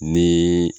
Ni